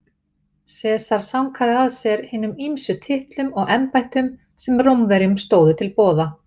Sesar sankaði að sér hinum ýmsu titlum og embættum sem Rómverjum stóðu til boða.